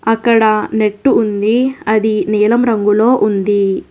అక్కడ నెట్ ఉంది అది నీలం రంగులో ఉంది.